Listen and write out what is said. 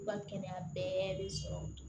U ka kɛnɛya bɛɛ bɛ sɔrɔ